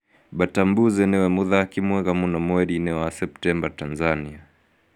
Batambuze niwe mũthaki mwega mũno mweri-ini wa wa Septemba Tanzania